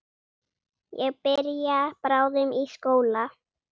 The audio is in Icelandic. Ég byrja bráðum í skóla.